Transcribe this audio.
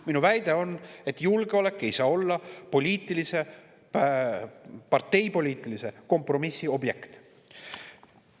Minu väide on, et julgeolek ei saa olla parteipoliitilise kompromissi objekt.